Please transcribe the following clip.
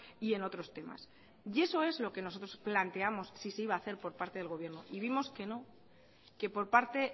y en otros temas y eso es lo que nosotros planteamos si se iba a hacer por parte del gobierno y vimos que no que por parte